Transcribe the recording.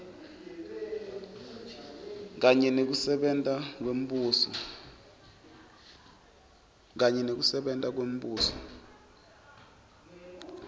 kanye nekusebenta kwembuso